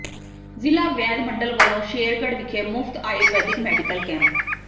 ਜ਼ਿਲ੍ਹਾ ਵੈਦ ਮੰਡਲ ਵਲੋਂ ਸ਼ੇਰਗੜ੍ਹ ਵਿਖੇ ਮੁਫ਼ਤ ਆਯੁਰਵੈਦਿਕ ਮੈਡੀਕਲ ਕੈਂਪ